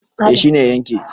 eh shi ne ya yanke